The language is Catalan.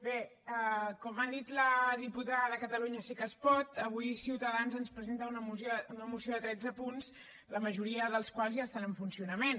bé com ha dit la diputada de catalunya sí que es pot avui ciutadans ens presenta una moció de tretze punts la majoria dels quals ja estan en funcionament